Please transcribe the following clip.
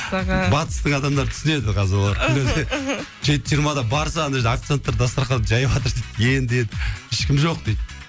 батыстың адамдары түсінеді қазір олар жеті жиырмада барса ана жерде официанттар дастарханды жайыватыр дейді енді енді ешкім жоқ дейді